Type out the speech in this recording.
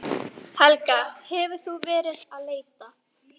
Helga: Hefur þú verið að leita?